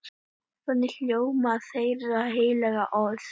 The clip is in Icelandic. Þannig hljóðar þeirra heilaga orð.